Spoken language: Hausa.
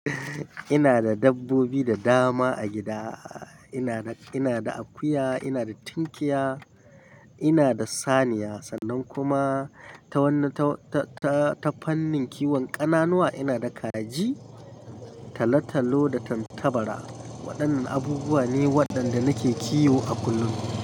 Ina da dabbobi da dama a gida. Ina da, ina da akuya, ina da tinkiya, ina da saniya, sannan kuma ta wanne, ta, ta, ta, ta fannin kiwon ƙananuwa ina da kaji, talo-talo da tattabara. Waɗannan abubuwa ne waɗanda nake kiwo a kullum.